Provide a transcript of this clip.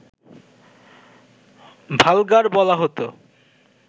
vulgar বলা হতো